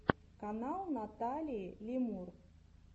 канал наталии лемур